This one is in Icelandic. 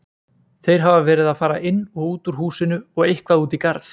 Þeir hafa verið að fara inn og út úr húsinu og eitthvað út í garð.